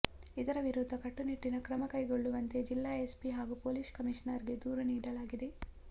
ಇದರ ವಿರುದ್ಧ ಕಟ್ಟುನಿಟ್ಟಿನ ಕ್ರಮಕೈಗೊಳ್ಳುವಂತೆ ಜಿಲ್ಲಾ ಎಸ್ಪಿ ಹಾಗೂ ಪೊಲೀಸ್ ಕಮಿಷನರ್ಗೆ ದೂರು ನೀಡಲಾಗಿದೆ